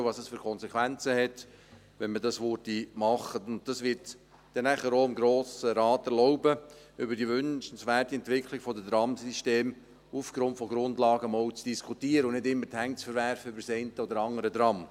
Die Auslegeordnung wird dem Grossen Rat erlauben, einmal anhand von Grundlagen über die wünschenswerte Entwicklung der Tramsysteme zu diskutieren, und nicht immer die Hände über das eine oder andere Tram zu verwerfen.